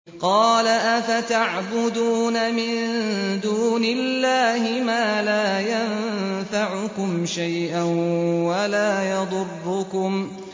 قَالَ أَفَتَعْبُدُونَ مِن دُونِ اللَّهِ مَا لَا يَنفَعُكُمْ شَيْئًا وَلَا يَضُرُّكُمْ